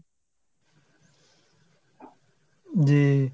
জি